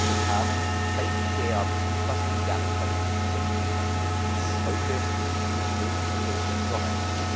Wir kamen seit der Beschlussfassung im Jahr 2007 bis heute nicht wirklich erfolgreich voran.